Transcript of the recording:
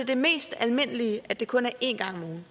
det mest almindelige at det kun er én gang om ugen